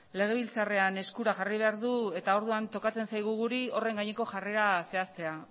legebiltzarrean eskura jarri behar du eta orduan tokatzen zaigu guri horren gaineko jarrera zehaztea